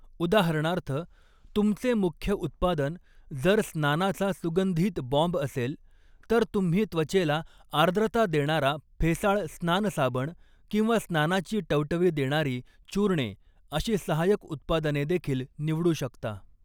उदाहरणार्थ, तुमचे मुख्य उत्पादन जर स्नानाचा सुगंधित बॉम्ब असेल, तर तुम्ही त्वचेला आर्द्रता देणारा फेसाळ स्नानसाबण किंवा स्नानाची टवटवी देणारी चूर्णे अशी सहायक उत्पादनेदेखील निवडू शकता.